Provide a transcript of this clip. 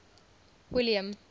william